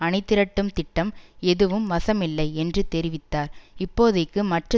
அணிதிரட்டும் திட்டம் எதுவும் வசம் இல்லை என்று தெரிவித்தார் இப்போதைக்கு மற்ற